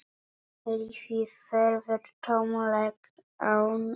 Lífið verður tómlegt án hennar.